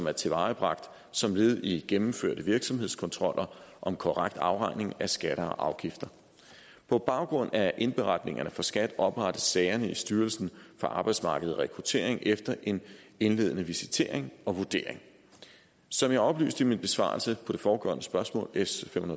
er tilvejebragt som led i gennemførte virksomhedskontroller om korrekt afregning af skatter og afgifter på baggrund af indberetningerne fra skat oprettes sagerne i styrelsen for arbejdsmarked og rekruttering efter en indledende visitering og vurdering som jeg oplyste i min besvarelse på det foregående spørgsmål s fem